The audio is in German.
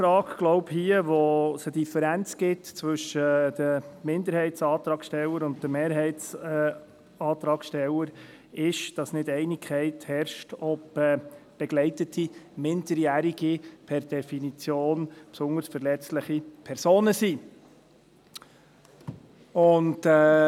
Ich glaube, die Kernfrage, bei der es hier eine Differenz zwischen den Minderheitsantragstellern und den Mehrheitsantragstellern gibt, ist, dass keine Einigkeit herrscht, ob begleitete Minderjährige per Definition besonders verletzliche Personen sind.